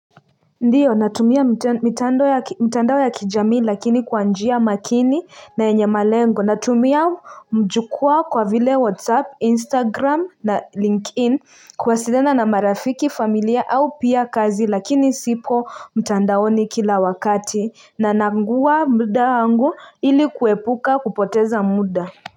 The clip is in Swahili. Ndio natumia mtandao ya kijamii lakini kwanjia makini na yenye malengo natumia mjukua kwa vile whatsapp instagram na linkedin kuwasiliana na marafiki familia au pia kazi lakini sipo mtandaoni kila wakati na nangua muda angu ili kuepuka kupoteza muda.